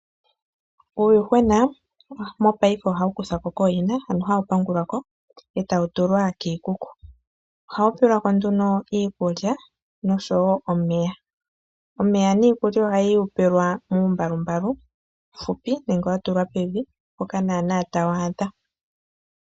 Uuyuhwena mopayife ohawu kuthwako kooyina hawu pangulwako etau tulwa kiikuku, ohawu tulilwako iikulya nomeya. Omeya niikulya ohawu yi pewelwa muumbalu mbalu uufupi nenge wa tulwa pevi mpoka nana tawu adha.